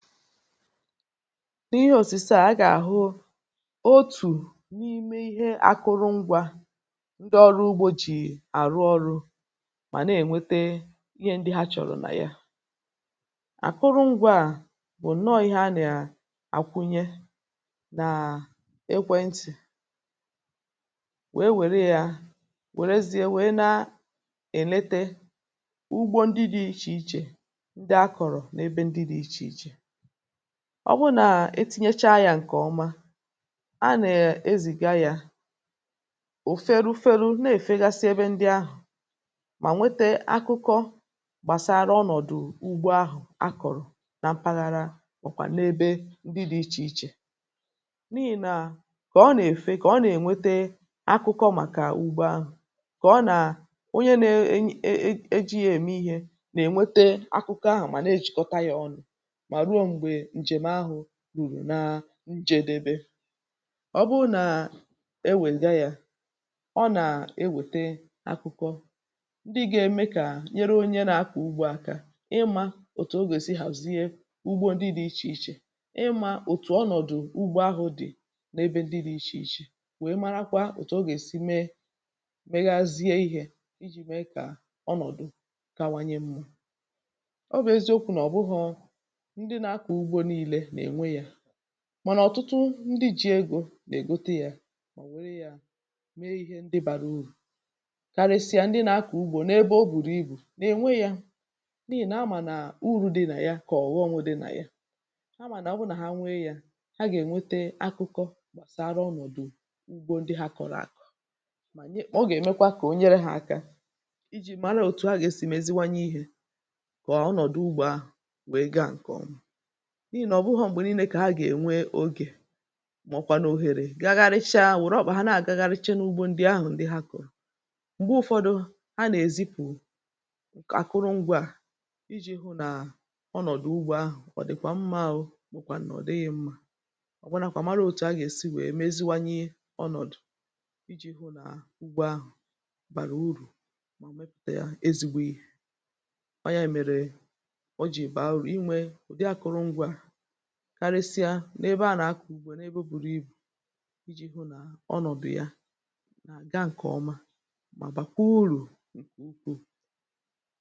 N’ihì osisi à, a gà-àhụ otù n’ime ihe akụrụ ngwà ndị ọrụ ugbò jì àrụ ọrụ̇, mà nà-ènwete ihe ndị ha chọ̀rọ̀ nà ya. Àkụrụ ngwà a nọ ihe a nà-àkwunye, nàà ekwe ntì, wèe wère yà, wèrezie, wèe na-èlete ugbò ndị dị̇ iche iche, ndị a kọ̀rọ̀ n’ebe ndị dị̇ iche iche. Ọ bụrụ nà etinyecha yà, ǹkèọma a nà-ezìga yà ụ̀fèrụ̇fèrụ̇, na-èfegasi ebe ndị ahụ̀, mà nwete akụkọ gbàsara ọnọ̀dụ̀ ugbo ahụ̀ a kọ̀rọ̀ na mpaghara, màkwà n’ebe ndị dị̇ iche iche. N’ihì nà, kà ọ nà-èfe, kà ọ nà-ènwete akụkọ màkà ugbo ahụ̀, kà onye na-eje ya um ème ihe, nà-ènwete akụkọ ahụ̀, mà na-ejìkọta ya ọnụ̇. Nà njedebe, ọ bụ nà ewèga yà, ọ nà-ewète akụkọ ndị gà-ème kà nyere onye nà-akọ̀ ugbo aka ịmà òtù ogè si hazie ugbo ndị dị̇ iche iche, ịmà òtù ọnọ̀dụ̀ ugbo ahụ̇ dị̀ n’ebe ndị dị̇ iche iche, wèe marakwa ọ̀tụ̀ ogè si mee, megazie ihè iji̇ mee kà ọnọ̀dụ̀ kawanye mmụ̇. Mànà ọ̀tụtụ ndị ji̇ egò nà-ègotu yà, mọ̀bụ̀ um nwere yà mee ihe ndị bàrà urù, karịsịa ndị nà-akọ̀ ugbò n’ebe o bùrù ibù, n’ènwe yà n’ihì nà-amà nà uru̇ dị nà ya kà ọ̀ghọ̀nwụ̇ dị nà ya. Ha mà nà ọ bụ nà ha nwee yà, ha gà-ènwete akụkọ gbàsara ọnọ̀dụ̀ ugbò ndị ha kọ̀rọ̀ akọ̀, mà o gà-èmekwa kà o nyere hȧ aka ijì mara òtù ahị̀sị̀m eziwanye ihè, kà ọnọ̀dụ ugbò ahụ̀ wèe gà ǹkọ̀nwà. N’ihì nà ọ̀ bụhọ̇ m̀gbè niile kà ha gà-ènwe ogè, mà ọkwà n’òhèrè gagharịcha, wèrè ọkwụ̇ ha na-àgagharịche n’ugbò ndị ahụ̀ ndị ha kọ̀rọ̀. M̀gbe ụfọdụ, ha nà-èzipụ̀ àkụrụ ngwà à iji̇ hụ nà ọ nọ̀dụ̀ ugbo ahụ̀ ọ dị̀kwà mma — ọ̀ bụ̀kwànụ̀ ọ̀ dịghị̇ mmȧ, ọ̀ bụnàkwà mara òtù ha gà-èsi wèe meziwanye ọ̀nọ̀dụ̀ iji̇ hụ nà ugbo ahụ̀ bàrà urù, ma mepùte ya ezigbo yà ọ yà èmèrè ọ jì bụ̀ aụrụ̀ inwė n’ebe a nà-akọ̀ ugbò n’ebe buru ibù iji̇ hụ nà ọ nọ̀bị̀ ya, nà gà ǹkè ọma mà bàkwa urù ǹkè ukwuù.